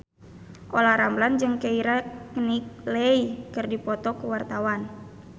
Olla Ramlan jeung Keira Knightley keur dipoto ku wartawan